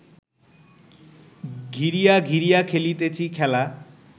ঘিরিয়া ঘিরিয়া খেলিতেছি খেলা